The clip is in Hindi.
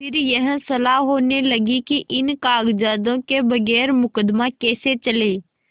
फिर यह सलाह होने लगी कि इन कागजातों के बगैर मुकदमा कैसे चले